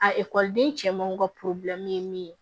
A ekɔliden cɛmanw ka ye min ye